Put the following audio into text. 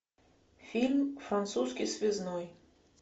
фильм французский связной